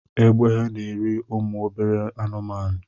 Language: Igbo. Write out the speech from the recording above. Egbe na-eri umu obere anụmanụ